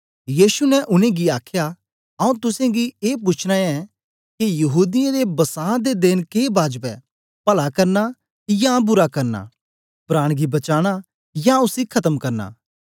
यीशु ने उनेंगी आखया आऊँ तुसेंगी ए पूछना ऐं के यहूदीयें दे बसां दे देन के बाजब ऐ पला करना या बुरा करना प्राण गी बचाना या उसी खतम करना